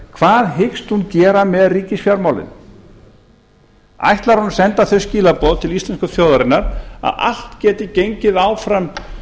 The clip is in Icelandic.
hvað hyggst hún gera við ríkisfjármálin ætlar hún að senda þau skilaboð til íslensku þjóðarinnar að allt geti gengið áfram